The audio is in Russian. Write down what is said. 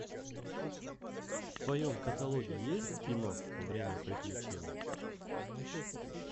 в твоем каталоге есть кино время приключений